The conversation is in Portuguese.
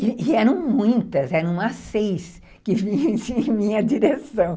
E eram muitas, eram umas seis que vinham em minha direção.